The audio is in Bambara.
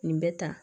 Nin bɛ tan